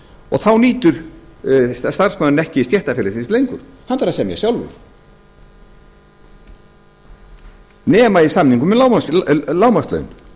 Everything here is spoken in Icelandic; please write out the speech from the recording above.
og þá nýtur starfsmaðurinn ekki stéttarfélagsins lengur hann bara semur sjálfur nema í samningum um lágmarkslaun